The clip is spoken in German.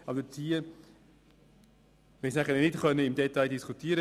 Allerdings konnten wir nicht im Detail darüber diskutieren.